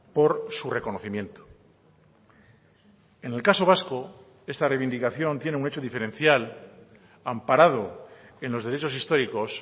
por su reconocimiento en el caso vasco esta reivindicación tiene un hecho diferencial amparado en los derechos históricos